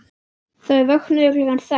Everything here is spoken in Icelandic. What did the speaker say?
Þau vöknuðu klukkan sex.